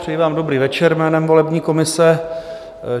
Přeji vám dobrý večer jménem volební komise.